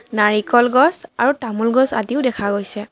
নাৰিকল গছ আৰু তামোল গছ আদিও দেখা গৈছে।